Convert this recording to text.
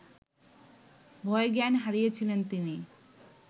ভয়ে জ্ঞান হারিয়েছিলেন তিনি